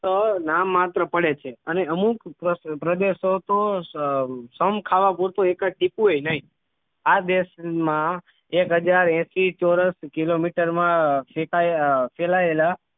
ફક્ત નામ માત્ર પડે છે અને અમુક પ્રદેશો તો સમ ખાવા પૂરતું એકાદ ટીમ્પુએ નહીં આ દેશમાં એક હાજર એસી ચોરસ કિલોમીટરમાં ફેલાયેલા